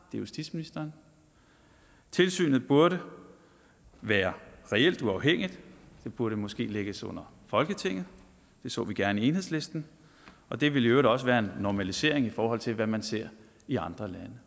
justitsministeren tilsynet burde være reelt uafhængigt det burde måske lægges under folketinget det så vi gerne i enhedslisten og det ville i øvrigt også være en normalisering i forhold til hvad man ser i andre